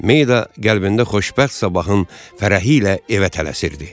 Mayda qəlbində xoşbəxt sabahın fərəhi ilə evə tələsirdi.